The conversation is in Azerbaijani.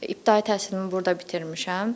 İbtidai təhsilimi burda bitirmişəm.